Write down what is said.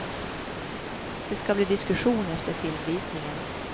Det ska bli diskussion efter filmvisningen.